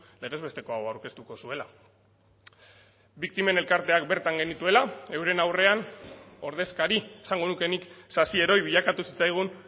legez besteko hau aurkeztuko zuela biktimen elkarteak bertan genituela euren aurrean ordezkari esango nuke nik sasi heroi bilakatu zitzaigun